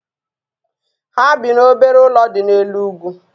Ha bi n'obere ụlọ dị n'elu ugwu